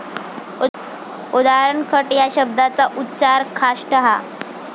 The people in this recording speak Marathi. उदा. खट या शब्दाचा उच्चार खाष्ट असा.